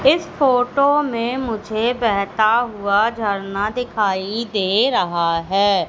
इस फोटो में मुझे बेहता हुआ झरना दिखाई दे रहा है।